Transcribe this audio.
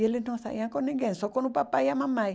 E eles não saíam com ninguém, só com o papai e a mamãe.